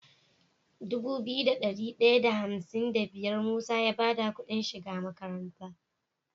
Dubu biyu da dari daya da hamsin da biyar musa ya bada Ƙudin shiga makaranta